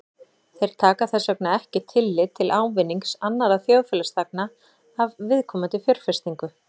Þeir taka þess vegna ekki tillit til ávinnings annarra þjóðfélagsþegna af viðkomandi fjárfestingu.